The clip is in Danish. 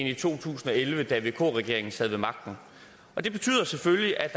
i to tusind og elleve da vk regeringen sad ved magten det betyder selvfølgelig at